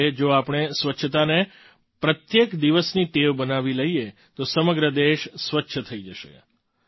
તે જ રીતે જો આપણે સ્વચ્છતાને પ્રત્યેક દિવસની ટેવ બનાવી લઈએ તો સમગ્ર દેશ સ્વચ્છ થઈ જશે